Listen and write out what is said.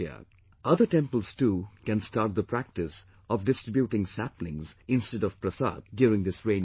Other temples too can start the practice of distributing saplings instead of 'prasad' during this rainy season